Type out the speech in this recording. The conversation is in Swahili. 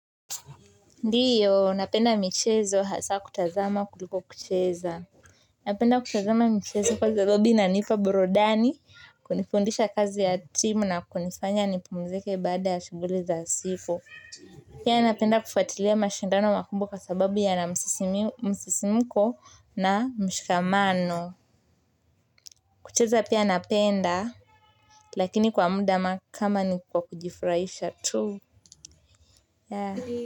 Ndiyo, napenda michezo hasa kutazama kuliko kucheza. Napenda kutazama michezo kwa sababu inanipa burudani, kunifundisha kazi ya timu na kunifanya nipumzike baada ya shughuli za siku. Pia napenda kufuatilia mashindano makumbwa kwa sababu yana msisimiko na mshikamano. Kucheza pia napenda, lakini kwa muda kama ni kwa kujifurahisha tu.